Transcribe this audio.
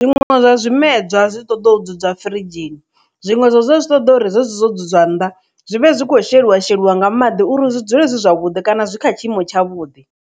Zwiṅwe zwa zwimedzwa zwi ṱoḓa u dzala firidzhini zwiṅwe zwa zwi ṱoḓa uri zwezwo zwu dzudzwa nnḓa zwi vhe zwi kho sheliwa sheliwa nga maḓi uri zwi dzule dzi zwavhuḓi kana zwi kha tshiimo tsha vhudi.